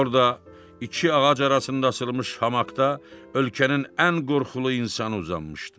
Orda iki ağac arasında asılmış hamakda ölkənin ən qorxulu insanı uzanmışdı.